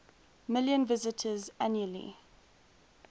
million visitors annually